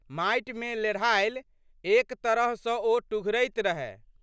माटिमे लेढ़ायल। एकतरह सँ ओ टुघरैत रहए।